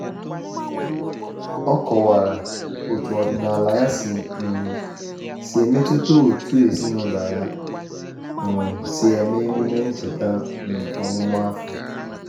O kọwara otu ọdịnala ya um si metụta otú ezinụlọ ya um si eme emume ncheta um ọmụmụ afọ.